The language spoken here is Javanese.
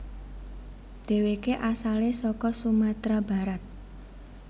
Deweke asale saka Sumatra Barat